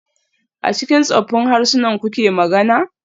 A cikin tsoffin harsunan kuke magana?